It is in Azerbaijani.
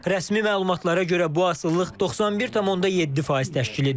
Rəsmi məlumatlara görə bu asılılıq 91,7% təşkil edir.